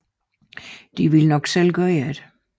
Alternativt ville de selv gøre det